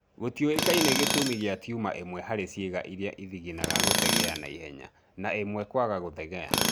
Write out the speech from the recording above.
Gũtiũĩkaine gĩtũmi kia tuma imwe harĩ ciĩga irĩa ithiginaga gũthegea na ihenya, na imwe kwaga gũthegea